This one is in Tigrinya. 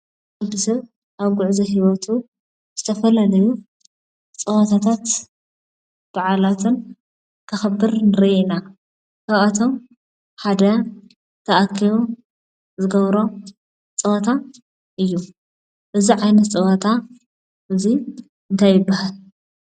ወዲሰብ ኣብ ጉዕዞ ሂወቱ ዝተፈላለዩ ፀዎታታት ብዓላትን ከክብር ንርኢ ኢና:: ካብኣቶም ሓደ ተኣከቢም ዝገብሮም ፀወታ እዩ፡፡ እዚ ዓይነት ፀወታ እንታይ ይበሃል ?